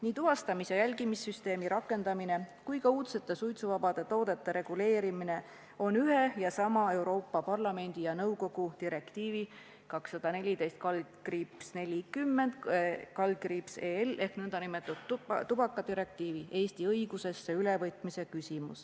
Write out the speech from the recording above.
Nii tuvastamis- ja jälgimissüsteemi rakendamise kui ka uudsete suitsuvabade toodete reguleerimise puhul on tegu ühe ja sama Euroopa Parlamendi ja nõukogu direktiivi 214/40/EL ehk nn tubakadirektiivi Eesti õigusesse ülevõtmisega.